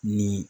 Ni